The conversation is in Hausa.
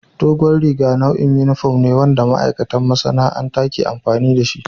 Dogon riga nau'in yunifom ne wanda ma'aikatan masana'anta ke amfani da shi.